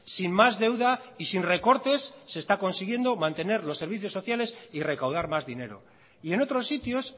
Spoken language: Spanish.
sin más deuda y sin recortes se está consiguiendo mantener los servicios sociales y recaudar más dinero y en otros sitios